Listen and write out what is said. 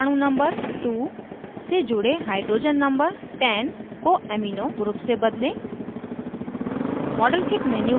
अब carbon परमाणु number 2 से जुड़े hydrogen number 10 को amino group से बदलें